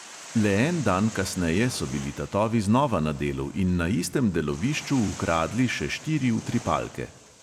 Le en dan kasneje so bili tatovi znova na delu in na istem delovišču ukradli še štiri utripalke.